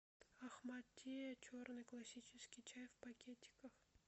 ахмад ти черный классический чай в пакетиках